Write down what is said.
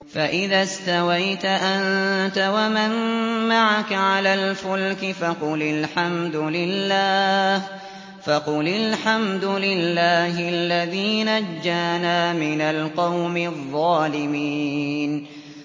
فَإِذَا اسْتَوَيْتَ أَنتَ وَمَن مَّعَكَ عَلَى الْفُلْكِ فَقُلِ الْحَمْدُ لِلَّهِ الَّذِي نَجَّانَا مِنَ الْقَوْمِ الظَّالِمِينَ